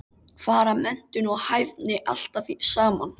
Fara menntun og hæfni alltaf saman?